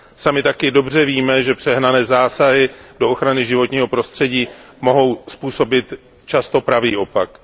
Sami také dobře víme, že přehnané zásahy do ochrany životního prostředí mohou způsobit často pravý opak.